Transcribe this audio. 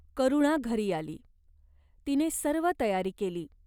करुणा घरी आली. तिने सर्व तयारी केली.